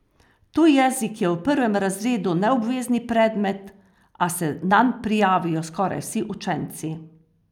Tuj jezik je v prvem razredu neobvezni predmet, a se nanj prijavijo skoraj vsi učenci.